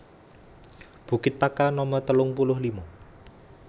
Bukit Pakar Nomer telung puluh lima